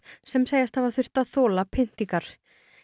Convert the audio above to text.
sem segjast hafa þurft að þola pyntingar